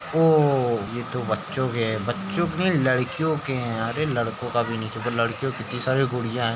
ओह हो ये तो बच्चों के हैं। बच्चों के नहीं लड़कियों के हैं। अरे लड़कों का भी लड़कियों की कित्ती सारी गुड़ियाँ हैं।